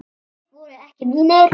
Þeir voru ekki mínir.